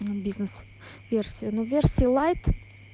и бизнес версию но версия лайт